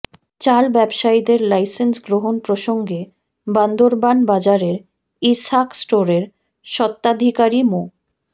চাল ব্যবসায়ীদের লাইসেন্স গ্রহণ প্রসঙ্গে বান্দরবান বাজারের ইসহাক স্টোরের স্বত্ত্বাধিকারী মো